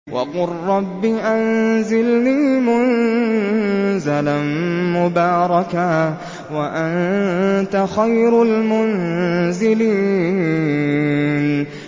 وَقُل رَّبِّ أَنزِلْنِي مُنزَلًا مُّبَارَكًا وَأَنتَ خَيْرُ الْمُنزِلِينَ